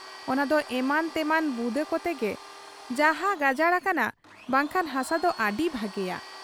ᱚᱱᱟᱫᱚ ᱮᱢᱟᱱ ᱛᱮᱢᱟᱱ ᱵᱩᱫᱟᱹ ᱠᱚᱛᱮᱜᱮ ᱡᱟᱦᱟᱸ ᱜᱟᱡᱟᱲ ᱟᱠᱟᱱᱟ ᱵᱟᱝᱠᱷᱟᱱ ᱦᱟᱥᱟᱫᱚ ᱟᱹᱰᱤ ᱵᱷᱟᱹᱜᱤᱭᱟ ᱾